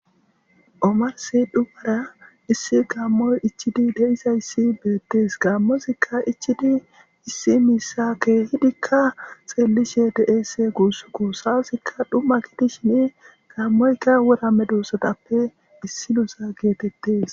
omarsi dhumara issi gaammoy ichidi deizayssi beettes gaammozikka ichidi issi miissakke hidikka xeellishe deese guussu ku saasikka dhumma gidi shini gaammoyka wora me duussatappe issinosa geetettes